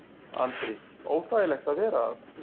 Andri: Óþægilegt að vera þarna?